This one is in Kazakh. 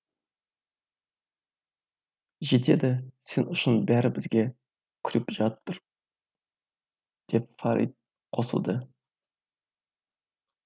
жетеді сен үшін бәрі бізге күліп жатыр деп фарит қосылды